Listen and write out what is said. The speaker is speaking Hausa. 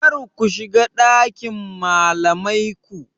Karku shiga ɗakin malamai ku.